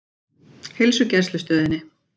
Heilsugæslustöðinni